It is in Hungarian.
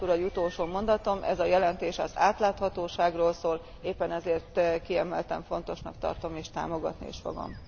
Elnök úr, az utolsó mondatom ez a jelentés az átláthatóságról szól, éppen ezért kiemelten fontosnak tartom és támogatni is fogom.